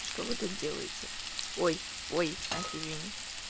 что вы тут делаете ой ой настя извини